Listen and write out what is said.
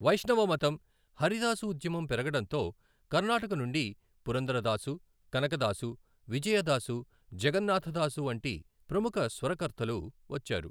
వైష్ణవ మతం, హరిదాస ఉద్యమం పెరగడంతో కర్ణాటక నుండి పురందరదాసు, కనకదాసు, విజయదాసు, జగన్నాథదాసు వంటి ప్రముఖ స్వరకర్తలు వచ్చారు.